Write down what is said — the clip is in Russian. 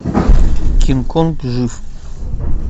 кинг конг жив